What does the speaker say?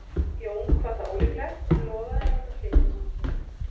Jón kvað það ólíklegt en lofaði að láta flytja honum þau.